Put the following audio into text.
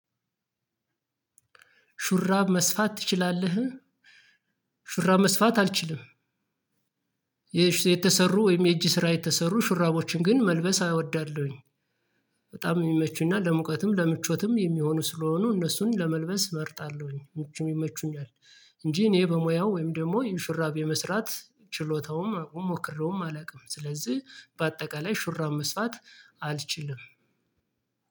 ሹራብ መስፋት ትችላለ? ሹራብ መስፋት አልችልም። የተሰሩ ወይም የእጅ ስራ የተሰሩ ሹራቦችን ግን መልበስ አወዳለሁኝ። በጣም የሚመቹና ለሙቀትም ለምቾትም የሚሆኑ ስለሆኑ እነሱን ለመልበስ እመርጣለሁኝ ምቹም ይመቹኛል። እንጂ እኔ በሙያው ወይም ደግሞ ሹራብ የመስራት ችሎታውም አቅሙም ሞክሬውም አላውቅም ስለዚህ በአጠቃላይ ሹራብ መስፋት አልችልም።